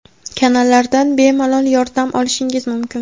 kanallardan bemalol yordam olishingiz mumkin.